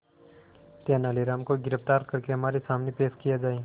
तेनालीराम को गिरफ्तार करके हमारे सामने पेश किया जाए